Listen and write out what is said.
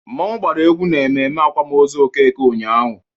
Mmọnwụ gbara egwu na mmemme akwamozu Okeke ụnyaahụ.